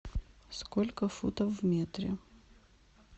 сколько футов в метре